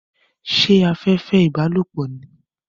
Ṣé afẹ́fẹ́ ìbálòpọ̀ ni?